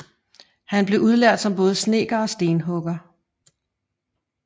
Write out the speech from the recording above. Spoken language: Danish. Han blev udlært som både snedker og stenhugger